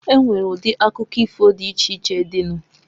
Enwere udi akụkọ ifo di iche iche dị nu.